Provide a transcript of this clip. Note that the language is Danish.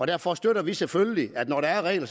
derfor støtter vi selvfølgelig at når der er regler